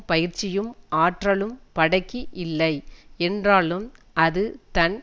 பயிற்சியும் ஆற்றலும் படைக்கு இல்லை என்றாலும் அது தன்